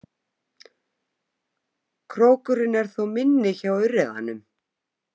Krókurinn er þó minni hjá urriðanum.